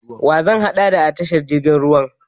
Wa zan haɗo da a tashar jirgin ruwan?